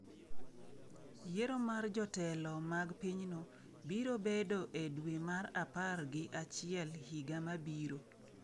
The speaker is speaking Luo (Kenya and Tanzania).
Yiero mar jotelo mag pinyno biro bedo e dwe mar apar gi achiel higa mabiro.